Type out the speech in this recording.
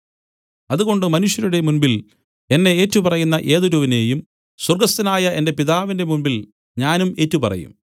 അതുകൊണ്ട് മനുഷ്യരുടെ മുമ്പിൽ എന്നെ ഏറ്റുപറയുന്ന ഏതൊരുവനെയും സ്വർഗ്ഗസ്ഥനായ എന്റെ പിതാവിന്റെ മുമ്പിൽ ഞാനും ഏറ്റുപറയും